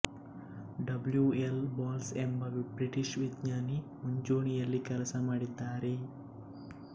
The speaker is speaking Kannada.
ಡಬ್ಲ್ಯು ಎಲ್ ಬಾಲ್ಸ್ ಎಂಬ ಬ್ರಿಟಿಷ್ ವಿಜ್ಞಾನಿ ಮುಂಚೂಣಿಯಲ್ಲಿ ಕೆಲಸಮಾಡಿದ್ದಾರೆ